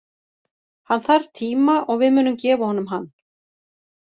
Hann þarf tíma og við munum gefa honum hann.